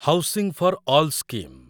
housing for all scheme